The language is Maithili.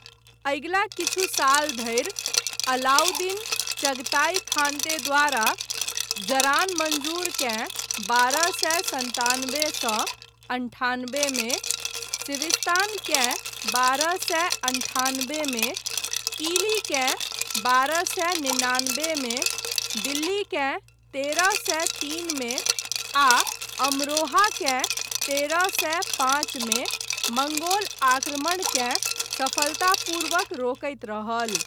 अगिला किछु साल धरी अलाउद्दीन, चगताई खानते द्वारा जरान मंजूर केँ बारह सए सन्तानबे सँ अन्ठानबे मे, सिविस्तान केँ बारह सए अन्ठानबे मे, किली केँ बारह सए निनानबेमे, दिल्ली केँ तेरह सए तीन मे, आ अमरोहा केँ तेरह सए पाँच मे मंगोल आक्रमणकेँ सफलतापूर्वक रोकैत रहल।